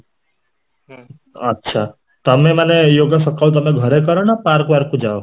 ଆଛା, ତମେ ମାନେ yoga ସକାଳୁ ତମେ ଘରେ କର ନ ପାର୍କ କୁ ଯାଅ